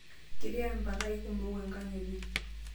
Ketii mpakai kumok enkang enye.